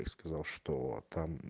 и сказал что там